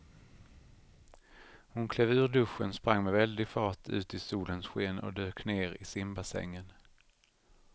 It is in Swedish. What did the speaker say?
Hon klev ur duschen, sprang med väldig fart ut i solens sken och dök ner i simbassängen.